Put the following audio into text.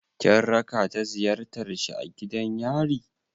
Kin raka ta ziyartar shi a gidan yari?